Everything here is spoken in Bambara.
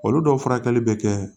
Olu dɔw furakɛli bɛ kɛ